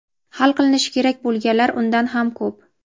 hali qilinishi kerak bo‘lganlari undan ham ko‘p.